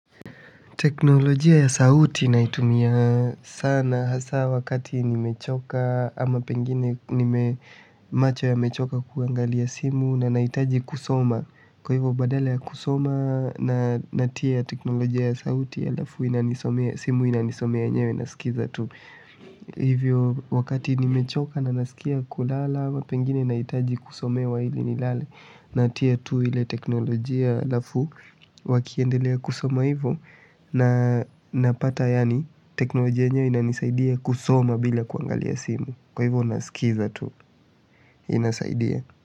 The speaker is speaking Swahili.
Teknolojia ya sauti naitumia sana hasa wakati nimechoka ama pengine macho yamechoka kuangalia simu na nahitaji kusoma kwa hivyo badala ya kusoma na natia teknolojia ya sauti ya halafu inanisomea simu inanisomea yenyewe nasikiza tu. Hivyo wakati nimechoka na nasikia kulala ama pengine nahitaji kusomewa ili nilale. Natia tu ile teknolojia halafu wakiendelea kusoma hivyo na napata yaani teknolojia yenyewe inanisaidia kusoma bila kuangalia simu kwa hivyo nasikiza tu inasaidia.